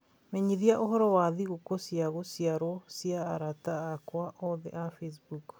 menyithia ũhoro wa thigũkũ cia gũciarwo cia arata akwa othe a Facebook